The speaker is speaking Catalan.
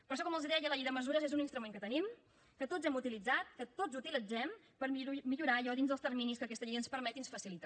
per això com els deia la llei de mesures és un instrument que tenim que tots hem utilitzat que tots utilitzem per millorar allò dins dels terminis que aquesta llei ens permet i ens facilita